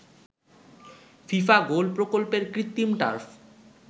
FIFA goal প্রকল্পের কৃত্রিম turf